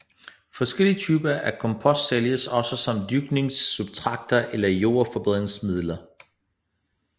Forskellige typer af kompost sælges også som dyrkningssubstrater eller jordforbedringsmidler